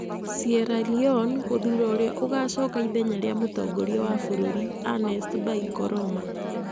Sierra Leone gũthuura ũrĩa ũgaacoka ithenya rĩa mũtongoria wa bũrũri, Ernest Bai Koroma.